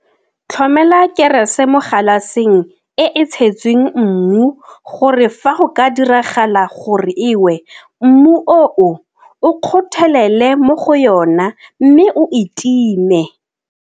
Tlhomela kerese mo galaseng e e tshetsweng mmu gore fa go ka diragala gore e we mmu oo o kgotholele mo go yona mme o e time.